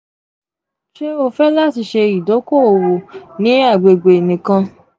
ṣe o fẹ lati ṣe idoko-owo ni agbegbe nikan?